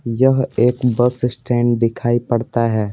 यह एक bus stand दिखाई पड़ता है।